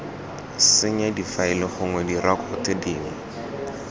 senya difaele gongwe direkoto dingwe